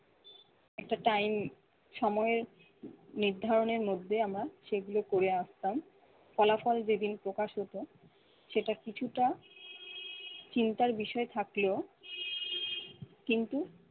একটা time সময়ের নির্ধারণের মধ্যে আমরা সেগুলো করে আসতাম। ফলাফল যেদিন প্রকাশ হত সেটা কিছুটা চিন্তার বিষয় থাকলেও কিন্তু-